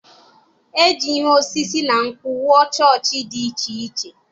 E ji ihe osisi na nkwụ wuo chọọchị dị iche iche.